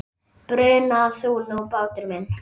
Bruna þú nú, bátur minn.